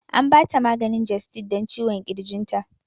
An ba ta maganin gestid dan ciwon ƙirginta